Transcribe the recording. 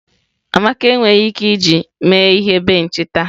Amaka enweghị ike iji mee ihe benchi taa.